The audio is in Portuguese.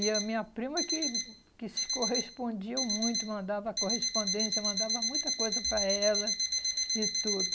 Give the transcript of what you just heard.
E a minha prima que que se correspondia muito, mandava correspondência, mandava muita coisa para ela e tudo.